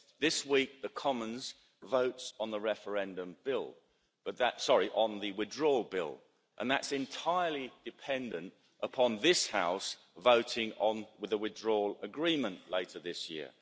This week the Commons votes on the Withdrawal Bill, and that's entirely dependent upon this House voting on the Withdrawal Agreement later this year.